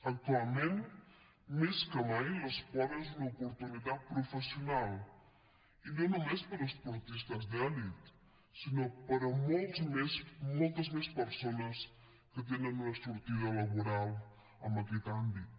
actualment més que mai l’esport és una oportunitat professional i no només per a esportistes d’elit sinó per a moltes més persones que tenen una sortida laboral en aquest àmbit